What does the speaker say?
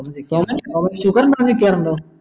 sugar മാനിക്കാറുണ്ടോ